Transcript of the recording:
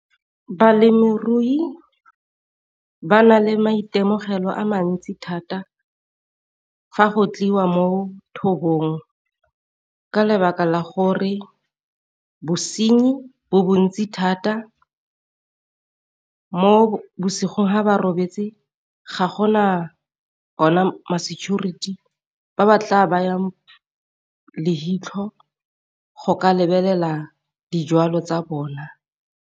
Balemirui ba na le maitemogelo a mantsi thata fa go tliwa mo thobong ka lebaka la gore bosenyi bo bontsi thata, mo bosigo ha ba robetse ga gona ona ma security ba ba tla bayang le leitlho go ka lebelela dijwalo tsa bona.